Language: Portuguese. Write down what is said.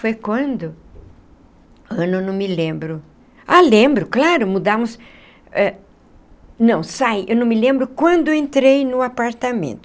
Foi quando...ano eu não me lembro... Ah, lembro, claro, mudamos... eh não, sai... Eu não me lembro quando eu entrei no apartamento.